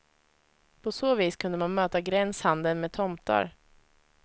På så vis kunde man möta gränshandeln med tomtar.